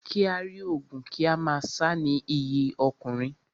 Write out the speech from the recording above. Kí á rí ogun kí a má sá ni iyì ọkùnrin.